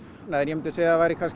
en ég myndi segja að það væri kannski